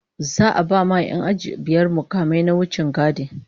Za'a ba 'yan aji biyar mukamai na wichingadi